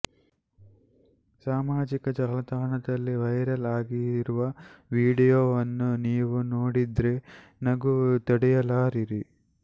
ಸಾಮಾಜಿಕ ಜಾಲತಾಣದಲ್ಲಿ ವೈರಲ್ ಆಗಿರುವ ವಿಡಿಯೋವನ್ನು ನೀವು ನೋಡಿದ್ರೆ ನಗು ತಡೆಯಲಾರಿರಿ